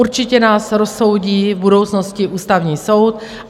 Určitě nás rozsoudí v budoucnosti Ústavní soud.